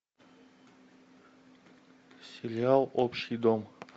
сериал общий дом